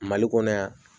Mali kɔnɔ yan